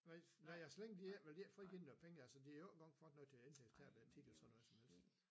Nej nej og så længe de ikke de vil frigive noget penge altså de har jo ikke engang fået noget til at indhente tabet af tickets og noget som helst